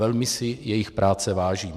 Velmi si jejich práce vážím.